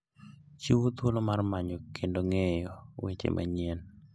Chiwo thuolo mar manyo kendo ng'eyo weche manyien.